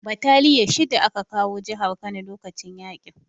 Bataliya shida aka kawo jihar Kano lokacin yaƙin